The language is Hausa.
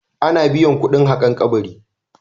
Ana biyan kuɗin haƙan kabari.